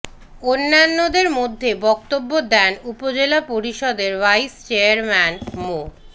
অন্যদের মধ্যে বক্তব্য দেন উপজেলা পরিষদের ভাইস চেয়ারম্যান মো